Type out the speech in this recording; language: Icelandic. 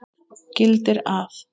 gildir að